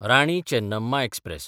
Rani Chennamma express